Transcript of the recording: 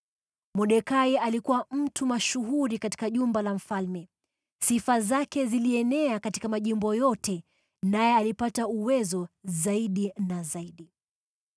Mordekai alikuwa mtu mashuhuri katika jumba la mfalme; sifa zake zilienea katika majimbo yote naye alipata uwezo zaidi na zaidi.